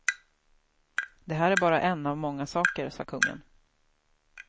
Det här är bara en av många saker, sa kungen.